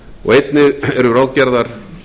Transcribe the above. og einnig eru ráðgerðar